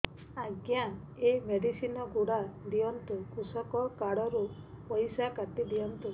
ଆଜ୍ଞା ଏ ମେଡିସିନ ଗୁଡା ଦିଅନ୍ତୁ କୃଷକ କାର୍ଡ ରୁ ପଇସା କାଟିଦିଅନ୍ତୁ